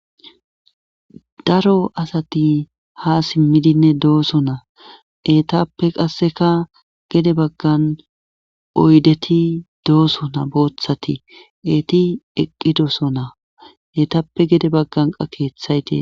daro asati ha simmidinne dooso naa eetappe qasseka gede baggan oydeti dooso na booththati eeti eqqidoso naa eetappe gede bagganqa keeththayte